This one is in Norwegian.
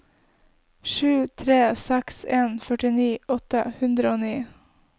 sju tre seks en førtini åtte hundre og ni